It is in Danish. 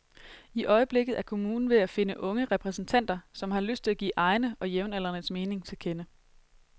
I øjeblikket er kommunen ved at finde unge repræsentanter, som har lyst til at give egne og jævnaldrendes mening til kende.